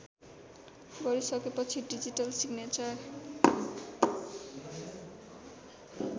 गरिसकेपछि digital signature